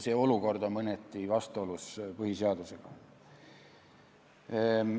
See olukord on mõneti vastuolus põhiseadusega.